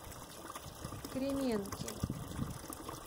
кременки